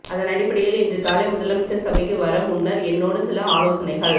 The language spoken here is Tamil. அதனடிப்படையில் இன்று காலை முதலமைச்சர் சபைக்கு வர முன்னர் என்னோடு சில ஆலோசனைகள்